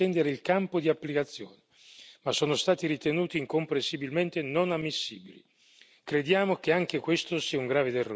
Abbiamo presentato diversi emendamenti volti ad estendere il campo di applicazione, ma sono stati ritenuti incomprensibilmente non ammissibili.